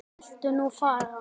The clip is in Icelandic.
Viltu nú fara!